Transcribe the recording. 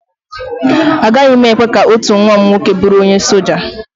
Agaghị m ekwe ka otu nwa m nwoke bụrụ onye soja